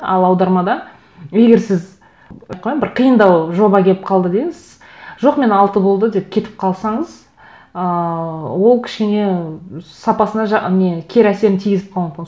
ал аудармада егер сіз қалай бір қиындау жоба келіп қалды деңіз жоқ мен алты болды деп кетіп қалсаңыз ыыы ол кішкене сапасына не кері әсерін тигізіп қалуы мүмкін